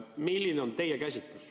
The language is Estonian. Milline on teie käsitus?